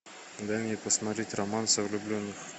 дай мне посмотреть романс о влюбленных